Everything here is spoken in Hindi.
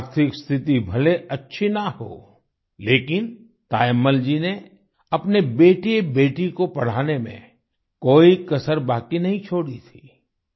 आर्थिक स्थिति भले अच्छी ना हो लेकिन तायम्मल जी ने अपने बेटेबेटी को पढ़ाने में कोई कसर बाकी नहीं छोड़ी थी